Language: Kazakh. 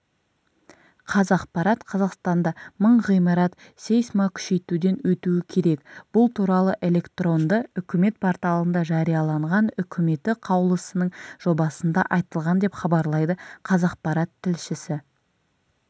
қазақпарат қазақстанда мың ғимарат сейсмокүшейтуден өтуікерек бұл туралы электронды үкімет порталында жарияланған үкіметі қаулысының жобасында айтылған деп хабарлайды қазақпарат тілшісі